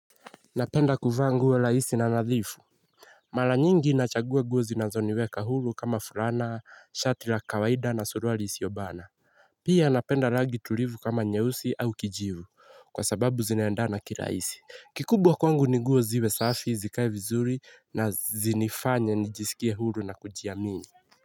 Napenda kuvaa nguo rahisi na nadhifu. Mara nyingi nachagua nguo zinazoniweka huru kama fulana shati la kawaida na suruali isiobana. Pia napenda rangi tulivu kama nyeusi au kijivu kwa sababu zinaendana kirahisi. Kikubwa kwangu ni nguo ziwe safi zikae vizuri na zinifanye nijisikie huru na kujiamini.